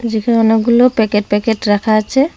যেখানে অনেকগুলো packet packet রাখা আছে।